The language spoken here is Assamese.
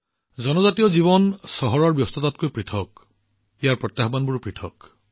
জনজাতীয় জীৱন চহৰবোৰৰ ব্যস্ততাতকৈ পৃথক ইয়াৰ প্ৰত্যাহ্বানবোৰো বেলেগ